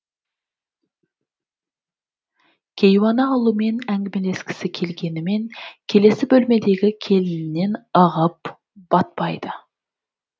кейуана ұлымен әңгімелескісі келгенімен келесі бөлмедегі келінінен ығып батпайды